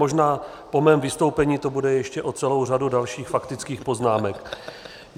Možná po mém vystoupení to bude ještě o celou řadu dalších faktických poznámek.